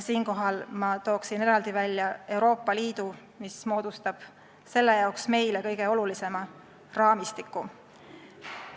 Siinkohal toon eraldi välja Euroopa Liidu, mis moodustab selle jaoks meile kõige olulisema raamistiku.